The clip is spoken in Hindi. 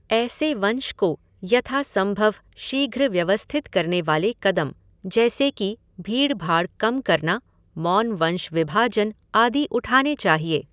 ऐसे वंश को यथासम्भव शीघ्र व्यवस्थित करने वाले कदम, जैसे कि भीड़भाड़ कम करना, मौनवंश विभाजन, आदि उठाने चाहिए।